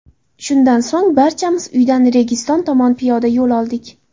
Shundan so‘ng barchamiz uydan Registon tomon piyoda yo‘l oldik.